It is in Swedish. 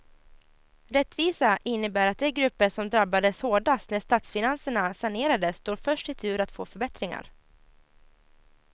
Rättvisa innebär att de grupper som drabbades hårdast när statsfinanserna sanerades står först i tur att få förbättringar.